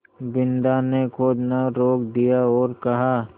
बिन्दा ने खोदना रोक दिया और कहा